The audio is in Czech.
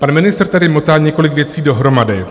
Pan ministr tady motá několik věcí dohromady.